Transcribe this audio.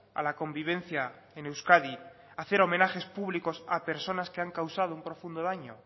a la convivencia en euskadi hacer homenajes públicos a personas que han causado un profundo daño